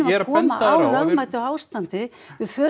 að koma á lögmætu ástandi við